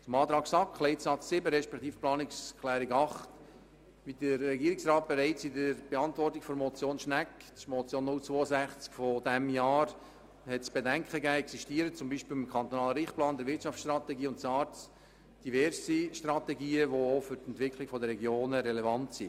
Zur Planungserklärung 8 der SAK zu Leitsatz 7: Wie der Regierungsrat bereits in seiner Antwort auf die Motion 0622017 Schnegg von diesem Jahr zu bedenken gegeben hat, existieren zum Beispiel mit dem kantonalen Richtplan, der Wirtschaftsstrategie und SARZ diverse Strategien, die auch für die Entwicklung der Regionen relevant sind.